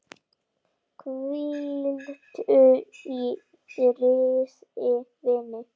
Hvíldu í friði vinur.